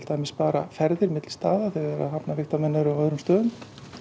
spara ferðir milli staða þegar hafnarvigtarmenn eru á öðrum stöðum